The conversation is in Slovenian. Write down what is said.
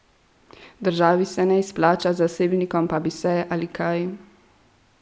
Državi se ne izplača, zasebnikom pa bi se, ali kaj?